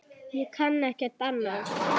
Ég kann ekkert annað.